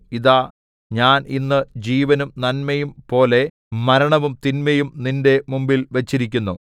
ഇതാ ഞാൻ ഇന്ന് ജീവനും നന്മയും പോലെ മരണവും തിന്മയും നിന്റെ മുമ്പിൽ വച്ചിരിക്കുന്നു